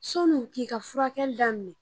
Sɔni u k'i ka furakɛli daminɛ